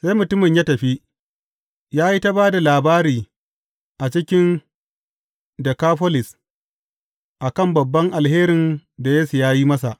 Sai mutumin ya tafi, ya yi ta ba da labari a cikin Dekafolis a kan babban alherin da Yesu ya yi masa.